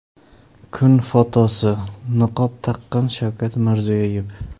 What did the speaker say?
Kun fotosi: Niqob taqqan Shavkat Mirziyoyev.